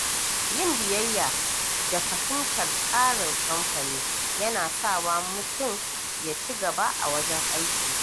Yin biyayya da fahimtar tsarin kamfani yana sawa mutum ya ci gaba a wajen aiki.